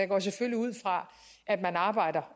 går selvfølgelig ud fra